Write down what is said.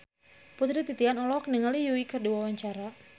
Putri Titian olohok ningali Yui keur diwawancara